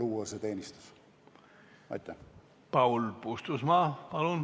Paul Puustusmaa, palun!